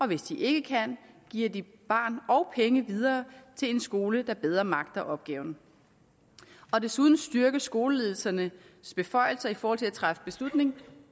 hvis de ikke kan giver de barn og penge videre til en skole der bedre magter opgaven desuden styrkes skoleledelsernes beføjelser i forhold til at træffe beslutning